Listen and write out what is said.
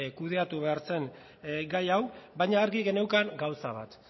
kudeatu behar zen gai hau baina argi geneukan gauza bat